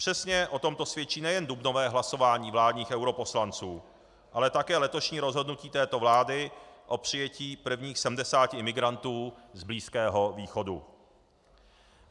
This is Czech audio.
Přesně o tomto svědčí nejen dubnové hlasování vládních europoslanců, ale také letošní rozhodnutí této vlády o přijetí prvních 70 imigrantů z Blízkého východu.